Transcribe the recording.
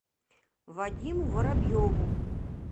вадиму воробьеву